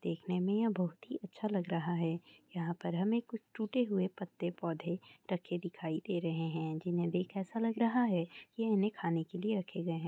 दरिक्षे में हामे दो हाथी दिखाई दे रहे हैं जिनमें हमें एक हाथी और एक हथनी नजर अ रही है वही हामे एक पास बारी बारी सूर दांत नजर अ रहे हैं देखने में ये बहुत ही अच्छा लग रहा है यहां पर हामे कुछ टूटे हुए पत्ते पौधे रखे दिखाई दे रहे हैं जिन्हें देखा ऐसा लग रहा है यह नहीं खाने के लिए रखे गए हैं ।